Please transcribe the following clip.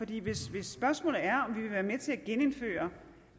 hvis spørgsmålet er om vi vil være med til at genindføre